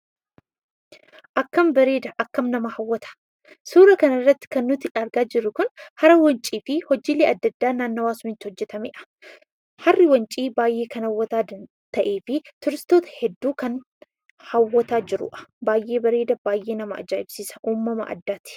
Akkam bareeda, akkam nama hawwata! Suura kana irratti wantootni argaa jirru kun hara Wancii fi hojiilee adda addaa naannawaa sanatti hojjetamaniidha. Harri Wancii baay'ee kan hawwataa ta'ee fi tuuristoota hedduu kan hawwataa jiruudha. Baay'ee bareeda, baay'ee nama ajaa'ibsiisa! Uumama addaati.